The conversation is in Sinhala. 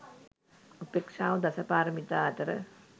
උපේක්‍ෂාව දස පාරමිතා අතර